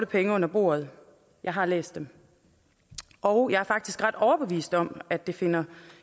penge under bordet jeg har læst dem og jeg er faktisk ret overbevist om at der finder